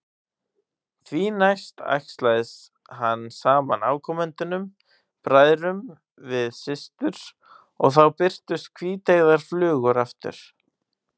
Því næst æxlaði hann saman afkomendunum, bræðrum við systur, og þá birtust hvíteygðar flugur aftur.